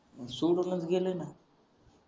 सोडूनच गेले ना